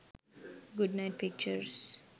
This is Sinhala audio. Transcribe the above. good night pictures